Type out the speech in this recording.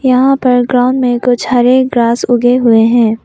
यहां पर ग्राउंड में कुछ हरे ग्रास उगे हुए हैं।